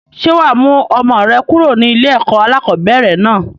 Ṣé wá mú ọmọ rẹ kúrò ní ilé ẹ̀kọ́ alakọ̀bẹ́ẹ́rẹ̀ náà?